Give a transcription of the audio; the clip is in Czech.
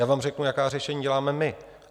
Já vám řeknu, jaká řešení děláme my.